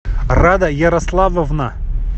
рада ярославовна